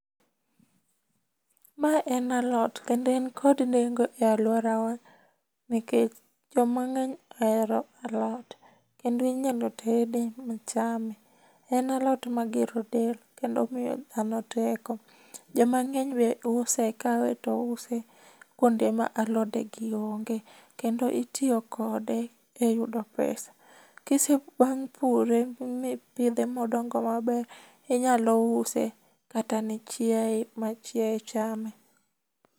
Mae en alot kendo en kod nengo e alworawa nikech joma ng'eny ohero alot, kendo inyalo tede machame. En alot magero del kendo miyo dhano teko. Jomang'eny be use, kawe to use kwonde ma alodegi onge kendo itiyo kode e yudo pesa. Bang' pure mipidhe modongo maber, inyalo use kata ne chiaye ma chiaye chame.